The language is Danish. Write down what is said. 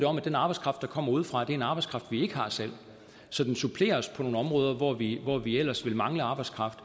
om at den arbejdskraft der kommer udefra er en arbejdskraft vi ikke har selv så den supplerer os på nogle områder hvor vi hvor vi ellers ville mangle arbejdskraft